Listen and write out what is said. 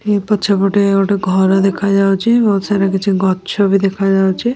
ଏ ପଛ ପଟେ ଗୋଟେ ଘର ଦେଖାଯାଉଚି। ବୋହୁତ ସାରା କିଛି ଗଛ ବି ଦେଖାଯାଉଚି।